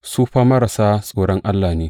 Su fa marasa tsoron Allah ne.